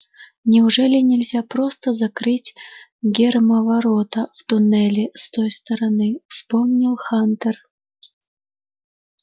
неужели нельзя просто закрыть гермоворота в туннеле с той стороны вспомнил хантер